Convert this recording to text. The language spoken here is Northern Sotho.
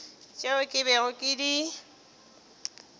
tšeo ke bego ke di